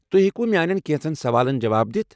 تُہۍ ہیٚکِوٕ میٛانٮ۪ن کٮ۪نٛژن سوالن جواب دِتھ؟